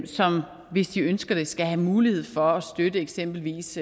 som hvis de ønsker det skal have mulighed for at støtte eksempelvis